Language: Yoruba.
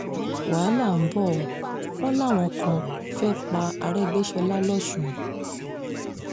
wàhálà ń bọ́ ọ wọ́n làwọn kan fẹ́ẹ́ pa arẹgbẹ́sọ́lá lọ́sùn